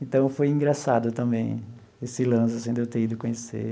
Então, foi engraçado também esse lance assim de eu ter ido conhecer.